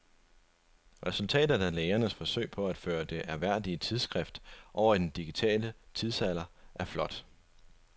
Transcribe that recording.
Resultatet af lægernes forsøg på at føre det ærværdige tidsskrift over i den digitale tidsalder er flot.